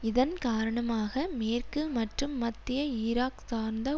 இதன் காரணமாக மேற்கு மற்றும் மத்திய ஈராக் சார்ந்த